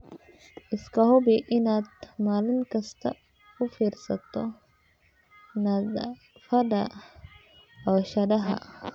Iska hubi inaad maalin kasta u fiirsato nadaafadda cooshadaha.